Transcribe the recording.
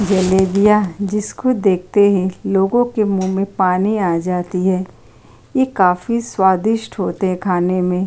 जलेबियाँ जिसको देखते ही लोगो के मुँह में पानी आ जाती है। ये काफी स्वादिष्ट होते है खाने में।